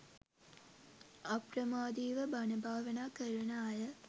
අප්‍රමාදීව බණ භාවනා කරන අය